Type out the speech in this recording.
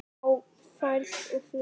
Á ferð og flugi